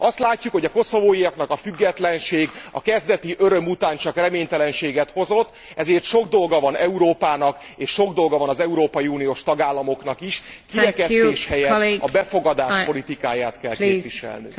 Azt látjuk, hogy a koszovóiaknak a függetlenség a kezdeti öröm után csak reménytelenséget hozott, ezért sok dolga van Európának, és sok dolga van az európai uniós tagállamoknak is kirekesztés helyett a befogadás politikáját kell képviselnünk.